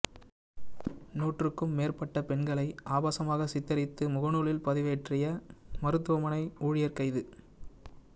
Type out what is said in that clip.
நூற்றுக்கும் மேற்பட்ட பெண்களை ஆபாசமாக சித்தரித்து முகநூலில் பதிவேற்றிய மருத்துவமனை ஊழியர் கைது